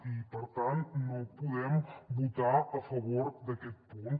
i per tant no podem votar a favor d’aquest punt